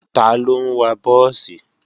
Taló ń wa búùsì?